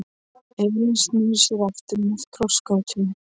Elín snýr sér aftur að krossgátunni.